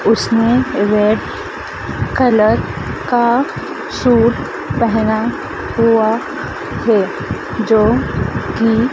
उसने red colour का suit पहना हुआ है जो कि--